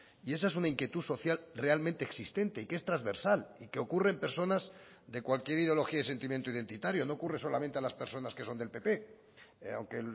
y esa es una inquietud social realmente existente y que es transversal y que ocurre en personas de cualquier ideología y sentimiento identitario no ocurre solamente a las personas que son del pp aunque